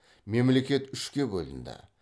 мемлекет үшке бөлінді